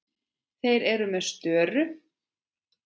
Þeir eru með störu.